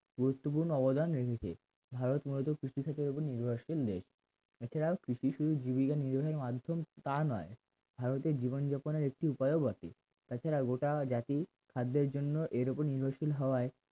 গুরুত্বপূর্ণ অবদান নির্মিত ভারত মূলত কৃষি ক্ষেত্রের উপর নির্ভরশীল নেই এছাড়া কৃষি শুধু জীবিকা নির্বাহের মাধ্যম তা নয় ভারতের জীবনযাপনের একটি উপায়ও বটে তাছাড়া গোটা জাতি খাদ্যের জন্য এর ওপর নির্ভরশীল হওয়ায়